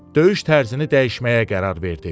Döyüş tərzini dəyişməyə qərar verdi.